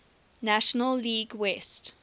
national league west